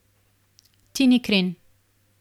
Tini Kren.